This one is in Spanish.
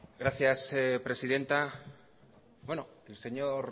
gracias presidenta el señor